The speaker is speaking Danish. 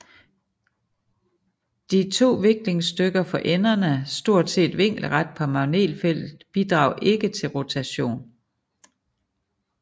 De to viklingsstykker for enderne stort set vinkelret på magnetfeltet bidrager ikke til rotation